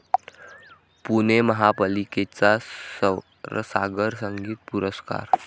पुणे महापालिकेचा स्वरसागर संगीत पुरस्कार